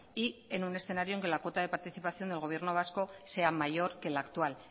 y en un escenario en que la cuota de participación del gobierno vasco sea mayor que la actual